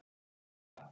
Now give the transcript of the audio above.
Eyjar hvað?